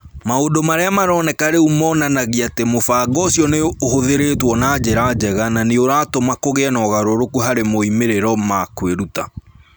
Maũndũ Marĩa Maroneka Rĩu monanagia atĩ mũbango ũcio nĩ ũhũthĩrĩtwo na njĩra njega na nĩ ũratũma kũgĩe na ũgarũrũku harĩ moimĩrĩro ma kwĩruta.